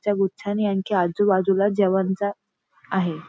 च्या गुच्छानी आणखी आजूबाजूला जेवणच आहे.